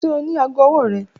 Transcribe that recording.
Ṣe o ni aago ọwọ rẹ?